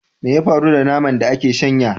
Me ya faru da naman da aka shanya?